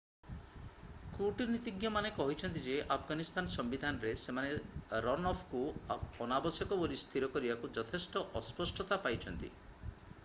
କୂଟନୀତିଜ୍ଞମାନେ କହିଛନ୍ତି ଯେ ଆଫଗାନିସ୍ତାନ ସମ୍ବିଧାନରେ ସେମାନେ ରନଅଫକୁ ଅନାବଶ୍ୟକ ବୋଲି ସ୍ଥିର କରିବାକୁ ଯଥେଷ୍ଟ ଅସ୍ପଷ୍ଟତା ପାଇଛନ୍ତି